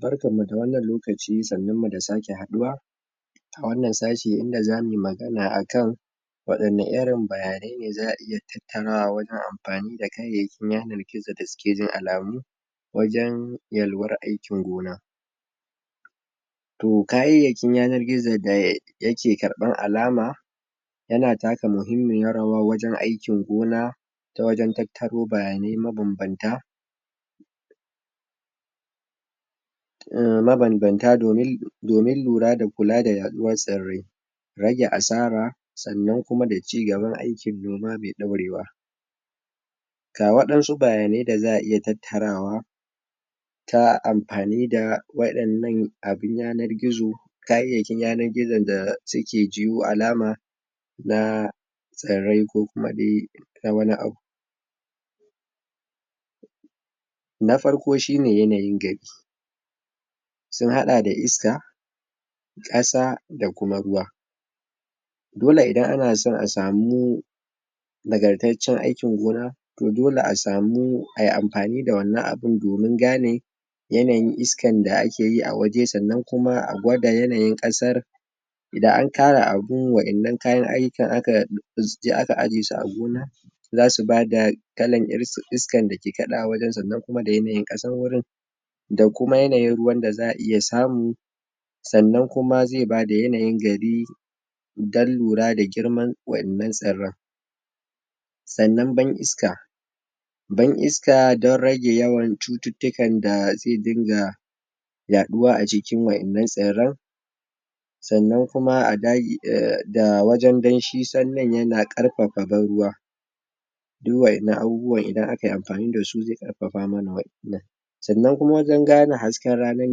barkan mu da wannan lokaci sannun mu da sake haduwa a wannan sashi inda zamuyi magana akan wada irin bayanai ne za'a iya tattarawa wajen amfani da yanar gizo da suke jin alamu wajen yalwar aikin gona toh kayayyakin yanar gizo da yake ƙarban alama yana taka muhimmmiyar rawa wajen aikin gona ta wajen tattaro bayanai ma banbanta ma banbanta domin lura da kula da yaduwan tsarrai rage asara sannan kuma da cigaban aikin noma mai ɗorewa ga wadansu bayanai wanda za'a iya tattarawa ta amfani da wadannan abun yanar gizo kayayyakin yanar gizo da suke jiyu alama na tsarrai ko kuma na wani abu na farko shine yanayin gari sun hada da iska kasa da kuma ruwa dole idan ana so a samu nagartattacen aikin gona dole asamu ayi amfani da wannan abun domin gane yanayin iska da akeyi a waje sannan kuma a gwada yanayin kasan idan an kara abun wadannan kayan aiyukan akaje aka aje su a gona zasu bada kalan iskan dake ƙadawa wajen sannan kuma da yanayin kasan wurin da kuma yanayin ruwan da za'a iya samu sannan kuma zai bada yanayi gari dan lura da girman wadannan tsarran sannan ban iska ban isaka dan rage yawan cuttukan da zai dinga yaduwa a jikin wadannan tsarran sannan kuma da wajen danshi sanyin yana ƙarfafa ban ruwa duk wadannan idan akayi amfani dasu zai karfafa wa'enan sannan wajen gane hasken rana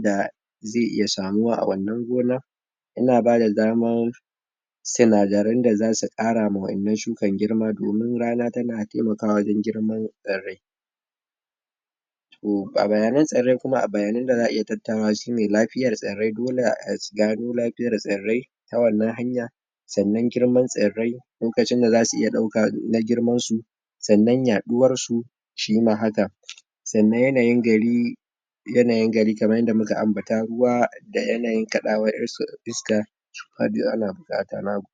da ze iya samuwa a wannan gona ya bada daman tsinadaren da zasu karama wadannan shukan girma dan rana tana taimakawa wajen girman tsarrai toh ga bayanan tsarrai kuma a bayanan da za'a iya tattarawa shine lafiyar tsarrai dole a gano laifayar tsarrai ta wannan hanya sannan girman tsarrai lokacin da zasu iya dauka na girman su sannan yaduwar su shima haka sannan yanayin gari yanayin gari kaman yanda muka ambata ruwa da yanayin ƙadawar iska ana bukata nagode